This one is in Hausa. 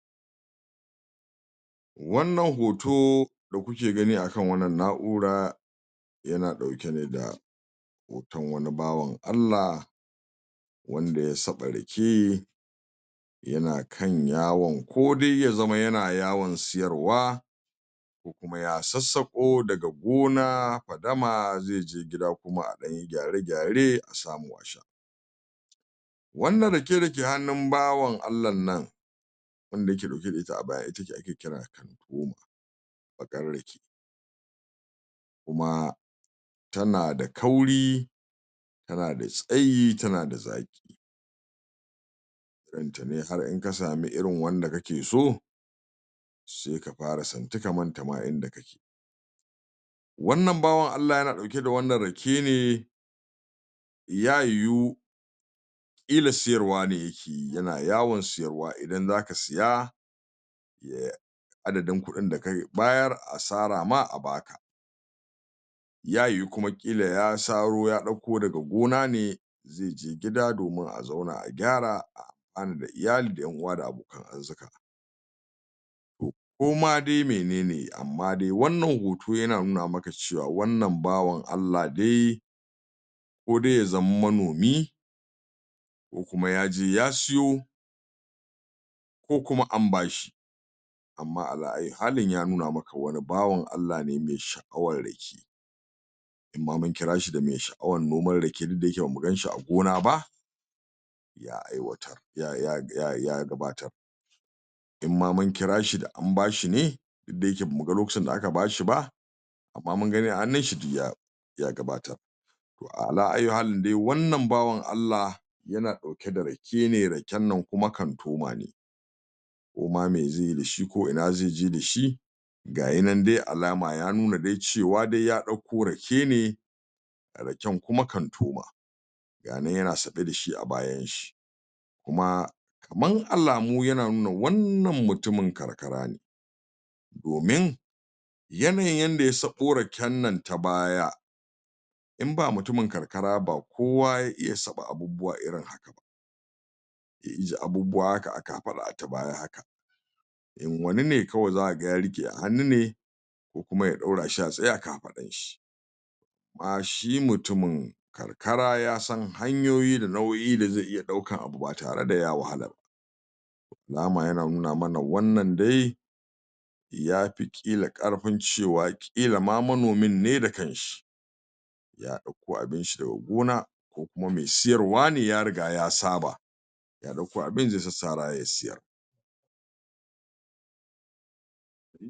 Wannan hoto da kuka gani a kan wannan na'ura yana ɗauke ne da hoton wani bawan Allah wanda ya saɓa rake yana kan yawon ko dai ya zama yana yawon siyarwa ko kuma ya sassaƙo daga gona fadama zai je gida kuma a ɗan yi gyare-gyare a samu a sha. wanna rake da ke hannun bawan Allan nan wanda ake yake ɗauke da ita a baya ita ce ake kira kantoma a ƙar rake kuma tana da kauri tana da tsayi tan da zaƙi irin ta ne in har ka sami irin wadda kake so sai ka fara santi ka manta ma inda kake wannan bawan Allah yana ɗauke da wannan rake ne ya yiwu ƙla siyarwa ne yake yi yana yawon siyarwa idan za ka siya ya adadin kuɗin da ka bayar asara ma a ba ka. ya yiwu kuma ya saro kuma ya ɗauko daga gona ne zai je gida domin a zauna a gyara da iyali da ƴan uwa da abokan arzuƙa. ko ma dai mene ne amma dai wannan hoto yana nuna maka wanna bawan Allah dai ko dai ya zam manomi ko kuma ya je ya siyo ko kuma am ba shi to Amma ayuha ayyu halin ya nuna maka wani bawan Allah ne mai sha'awar rake in ma mun kira shi da mai sha'awar noman rake duk da ba mu ganshi a gona ba ya aiwatar. ya gabatar in ma mun kira shi da am ba shi ne, duk da yake ba mu ga lokacin da aka ba shi ba amma mun gani a hannunshi, duk ya gabatar. to a'a ya ayyuhalin wannan bawan Allah yana ɗauke da rake ne raken nan kuma kantoma ne. koma me zai yi dashi ko ina zai je da shi ga ya nan dai alama ya nuna dai cewa dai ya ɗauko rake ne raken kuma kantoma. ga ya nan yana saɓe da shi a bayanshi. kuma da kaman alamu yana nuna wannan mutumin karkara ne. Domin yanayin yanda ya saɓo rake nan ta baya, in ba mutumin karkara ba ba kowa zai iya saɓa abubuwa irin irin abubuwa a kafaɗa ta baya haka in wani ne kawai za ka ga ya riƙe a hannu ne ko kuma ya ɗaura shi a tsaye a kafaɗarshi. amma shi mutumin karkara ya san hanyoyi da nau'o'in da zai iya ɗaukar abu ba tare da ya wahala ba. da alama yana nuna man wannan dai yaki ƙila ƙarfin nuna cewa ƙila ma manomin ne da kanshi ya ɗauko abinshi daga gona ko kuma mai siyarwa ne ya riga ya saba. ya ɗauko abinshi zai sassara ya siyar.